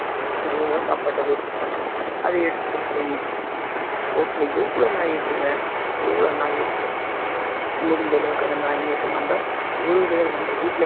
எவ்வளவோ சாப்பாட்ட waste பண்றோம் அதை எடுத்துட்டு போயி road ல எவ்வளவு நாய் இருக்குங்க எவ்ளோ நாய் இருக்கு முடிஞ்ச அளவுக்கு அந்த நாய்களுக்கு நம்ம ஒரு வேலை நம்ம வீட்டுல